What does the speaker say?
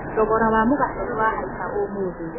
Thogora wa mũgate nĩwahaica ũmũthĩ